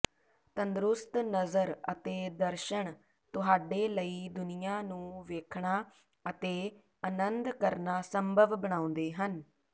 ਤੰਦਰੁਸਤ ਨਜ਼ਰ ਅਤੇ ਦਰਸ਼ਣ ਤੁਹਾਡੇ ਲਈ ਦੁਨੀਆਂ ਨੂੰ ਵੇਖਣਾ ਅਤੇ ਅਨੰਦ ਕਰਨਾ ਸੰਭਵ ਬਣਾਉਂਦੇ ਹਨ